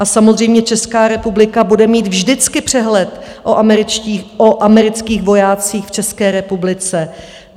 A samozřejmě Česká republika bude mít vždycky přehled o amerických vojácích v České republice.